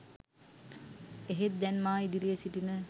එහෙත් දැන් මා ඉදිරියේ සිටින